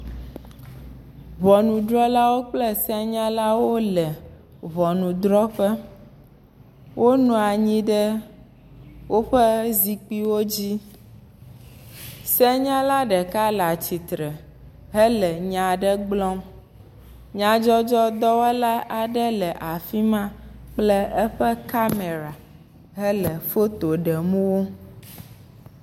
Ŋɔnudrɔlawo kple senyalawo le ŋɔnudrɔƒe, wonɔ anyi ɖe woƒe zikpuiwo dzi, senyala ɖeka le atsitre hele nya aɖe gblɔm, nyadzɔdzɔdɔwɔla aɖe le afi ma kple aƒe kamɛra hele foto ɖem wo.